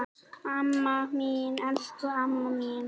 Amma mín, elsku amma mín.